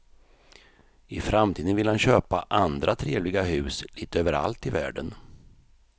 I framtiden vill han köpa andra trevliga hus lite överallt i världen.